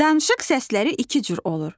Danışıq səsləri iki cür olur.